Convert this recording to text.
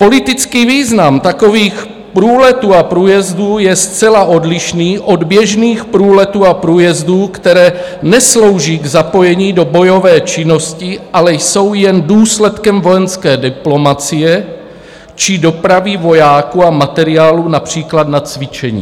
Politický význam takových průletů a průjezdů je zcela odlišný od běžných průletů a průjezdů, které neslouží k zapojení do bojové činnosti, ale jsou jen důsledkem vojenské diplomacie či dopravy vojáků a materiálu, například na cvičení."